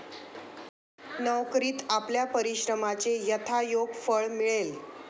नोकरीत आपल्या परिश्रमाचे यथायोग्य फळ मिळेल.